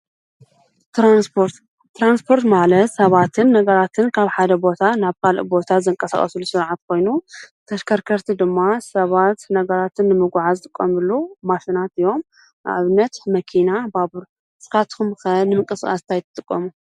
ትራንስፖርት ተራንስጶርት ማለት ሰባትን ነጋራትን ካብ ሓደ ቦታ ናብ ካልእ ቦታ ዘንቀሳቐሱሉ ሥርዓት ኮይኑ ተሽከርከርቲ ድማ ሰባት ነጋራትን ንምጕዓ ዝጥቖምሉ ማሽናት እዮም። ኣብነት መኪና ፣ባቡር፣ ንኻትኩምከ ንምቀ ሥቓስታኣ ይጥቖሙ?